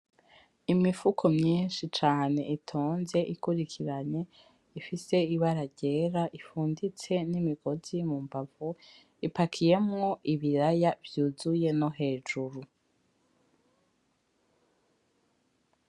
Imifuko myinshi cane itonze ikurikiranye, ifise ibara ryera, ifunditse n'imigozi mu mbavu, ipakiyemwo ibiraya vyuzuye no hejuru.